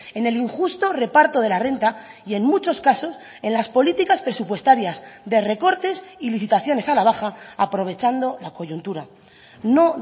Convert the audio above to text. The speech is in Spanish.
en el injusto reparto de la renta y en muchos casos en las políticas presupuestarias de recortes y licitaciones a la baja aprovechando la coyuntura no